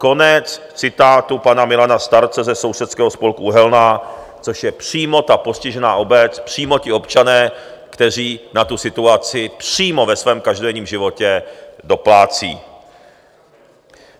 Konec citátu pana Milana Starce ze Sousedského spolku Uhelná, což je přímo ta postižená obec, přímo ti občané, kteří na tu situaci přímo ve svém každodenním životě doplácejí.